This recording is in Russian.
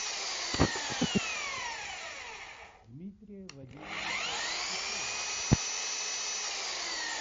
дмитрия вадимовича шишова